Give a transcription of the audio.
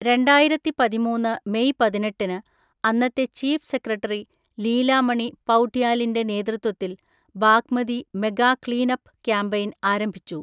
രണ്ടായിരത്തിപതിമൂന്ന് May പതിനെട്ടിന് അന്നത്തെ chief secretary Leela Mani പൗഡ്യാലിന്റെ നേതൃത്വത്തിൽ Bagmati mega clean up campaign ആരംഭിച്ചു.